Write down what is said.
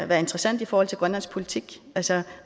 være interessant i forhold til grønlandsk politik altså